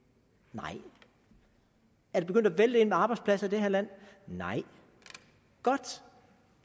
nej er det begyndt at vælte ind med arbejdspladser i det her land nej godt